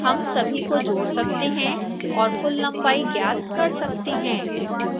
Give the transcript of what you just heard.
हम सभी को जोड़ सकते हैं और कुल लंबाई ज्ञात कर सकते हैं